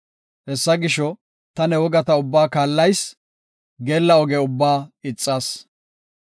Hessa gisho, ta ne wogata ubbaa kaallayis; geella oge ubbaa ixas.